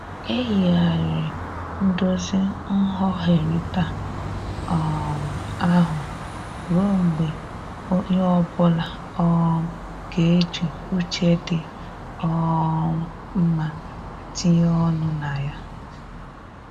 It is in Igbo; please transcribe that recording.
E yigharịrị ndozi nghọherita um ahụ ruọ mgbe onye ọbụla um ga-eji uche dị um mma tinye ọnụ na ya.